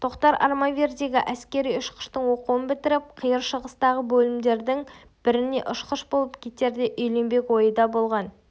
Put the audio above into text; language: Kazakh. тоқтар армавирдегі әскери-ұшқыштың оқуын бітіріп қиыр шығыстағы бөлімдердің біріне ұшқыш болып кетерде үйленбек ойы да болған